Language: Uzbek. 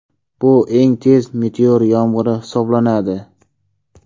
Bu eng tez meteor yomg‘iri hisoblanadi.